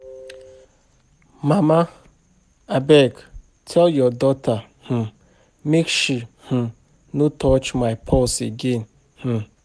Mama abeg tell your daughter um make she um no touch my purse again um